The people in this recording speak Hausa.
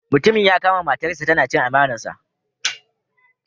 Mutumin ya kama matarsa tana chin amanarsa.